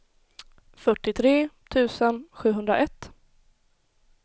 fyrtiotre tusen sjuhundraett